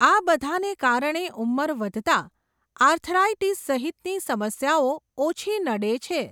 આ બઘાને કારણે ઉંમર વઘતાં, આર્થરાઈટીસ સહિતની સમસ્યાઓ ઓછી નડે છે.